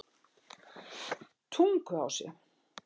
Tunguási